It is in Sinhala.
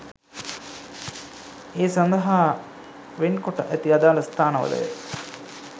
ඒ සඳහා වෙන් කොට ඇති අදාළ ස්ථානවලය.